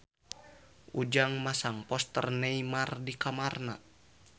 Ujang masang poster Neymar di kamarna